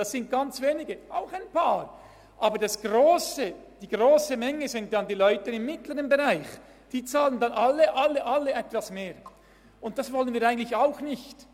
Es sind zwar auch ein paar, aber die grosse Menge sind die Leute im mittleren Bereich, die dann alle etwas mehr bezahlen, und das wollen wir eigentlich auch nicht.